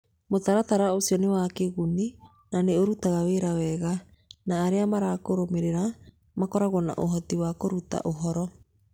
Mũtaratara ũcio nĩ wa kĩguni na nĩ ũrutaga wĩra wega, na arĩa marakũrũmĩrĩra makoragwo na ũhoti wa kũruta ũhoro.